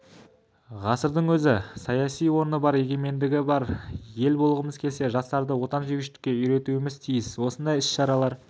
ғасырдың өз саяси орны бар егеменді ел болғымыз келсе жастарды отансүйгіштіке үйретуіміз тиіс осындай іс-шаралар